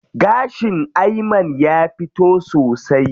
Gashin Ayman ya fito sosai.